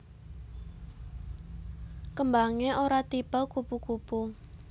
Kembangé ora tipe kupu kupu